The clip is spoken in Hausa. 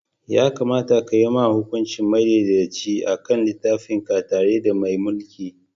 Ya kamata ka yi hukunci madaidaiciya a kan littafinka tare da mai mulki.